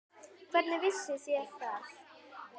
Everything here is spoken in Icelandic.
Hvernig vissuð þér það?